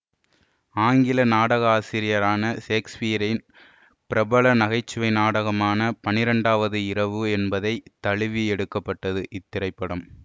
ஆங்கில நாடகாசிரியரான ஷேக்ஸ்பியரின் பிரபல நகைச்சுவை நாடகமான பன்னிரண்டாவது இரவு என்பதை தழுவி எடுக்க பட்டது இத்திரைப்படம்